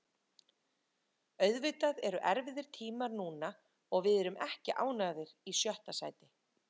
Auðvitað eru erfiðir tímar núna og við erum ekki ánægðir í sjötta sæti.